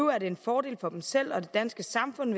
er det en fordel for dem selv og for det danske samfund